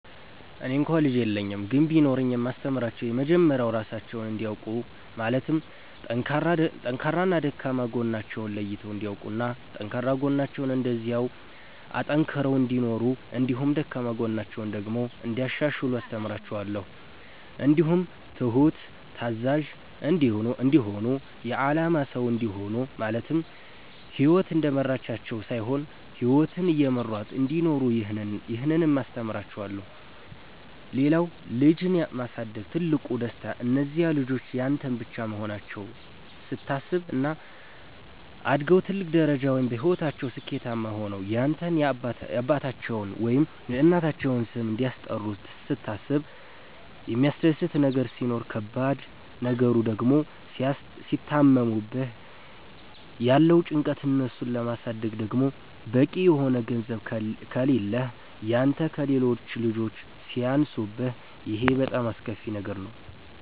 እኔ እንኳ ልጅ የለኝም ግን ቢኖረኝ የማስተምራቸዉ የመጀመሪያዉ ራሳቸዉን እንዲያዉቁ ማለትም ጠንካራና ደካማ ጎናቸዉን ለይተዉ እንዲያዉቁና ጠንካራ ጎናቸዉን እንደዚያዉ አጠንክረዉ እንዲኖሩ እንዲሁም ደካማ ጎናቸዉን ደግሞ እንያሻሽሉ አስተምራቸዋለሁ። እንዲሁም ትሁት፣ ታዛዥ፣ እንዲሆኑ የአላማ ሰዉ እንዲሆኑ ማለትም ህይወት እንደመራቻቸዉ ሳይሆን ህይወትን እየመሯት እንዲኖሩ ይህንንም አስተምራቸዋለሁ። ሌላዉ ልጅን ማሳደግ ትልቁ ደስታ እነዚያ ልጆች ያንተ ብቻ መሆናቸዉን ስታስብ፣ እና አድገዉ ትልቅ ደረጃ ወይም በህይወታቸዉ ስኬታማ ሆነዉ ያንተን የአባታቸዉን ወይም የእናታቸዉን ስም እንደሚያስጠሩ ስታስብ የሚያስደስት ነገር ሲሆን ከባድ ነገሩ ድግሞ ሲታመሙብህ ያለዉ ጭንቀት፣ እነሱን ለማሳደግ ደግሞ በቂ የሆነ ገንዘብ ከሌህ ያንተ ከሌሎች ልጆች ሲያንሱብህ ይሄ በጣም አስከፊ ነገር ነዉ።